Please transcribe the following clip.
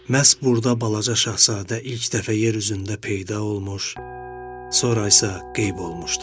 Məhz burda balaca şahzadə ilk dəfə yer üzündə peyda olmuş, sonra isə qeyb olmuşdu.